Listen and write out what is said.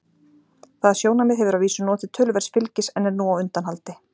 Það sjónarmið hefur að vísu notið töluverðs fylgis en er nú á undanhaldi.